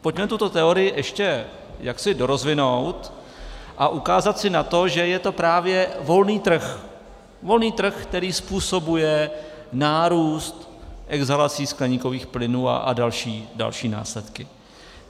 Pojďme tuto teorii ještě jaksi dorozvinout a ukázat si na to, že je to právě volný trh, volný trh, který způsobuje nárůst exhalací skleníkových plynů a další následky.